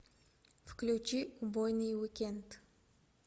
включи убойный уикенд